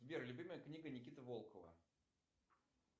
сбер любимая книга никиты волкова